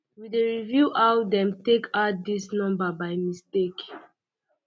we dey review how um dem take add dis number by mistake